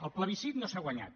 el plebiscit no s’ha guanyat